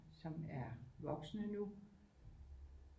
Som er voksne nu